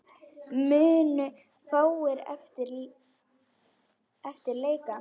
Munu fáir eftir leika.